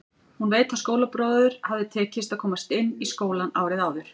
Hún veit að skólabróður hafði tekist að komast inn í skólann árið áður.